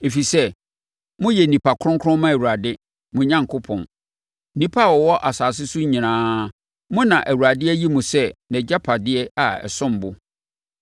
ɛfiri sɛ, moyɛ nnipa kronkron ma Awurade, mo Onyankopɔn. Nnipa a wɔwɔ asase so nyinaa, mo na Awurade ayi mo sɛ nʼagyapadeɛ a ɛsom bo.